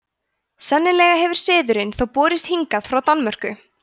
sennilega hefur siðurinn þó borist hingað frá danmörku